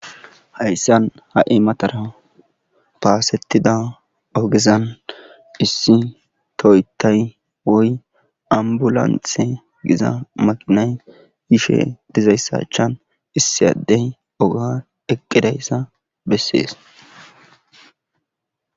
Hayssan ha'imatara paasettida ogezan issi toytay woy ambulanthe giza maqinay yishe dizayssachan issiyaddey oga eqqidayssa bessees.